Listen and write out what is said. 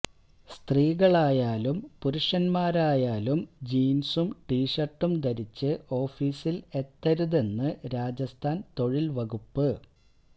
സ്ത്രീകളായാലും പുരുഷന്മാരായാലും ജീന്സും ടീഷര്ട്ടും ധരിച്ച് ഓഫീസില് എത്തരുതെന്ന് രാജസ്ഥാന് തൊഴില് വകുപ്പ്